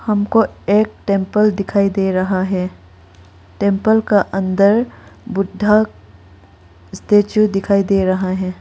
हमको एक टेंपल दिखाई दे रहा है टेंपल का अंदर बुद्धा स्टैचू दिखाई दे रहा है।